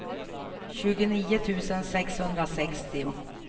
tjugonio tusen sexhundrasextio